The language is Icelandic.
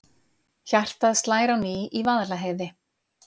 Hjartað slær á ný í Vaðlaheiði